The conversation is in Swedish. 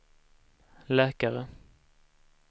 läkare